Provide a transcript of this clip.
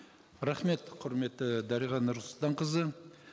рахмет құрметті дариға нұрсұлтанқызы